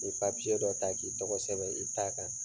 I be dɔ ta k'i tɔgɔ sɛbɛn i ta kan.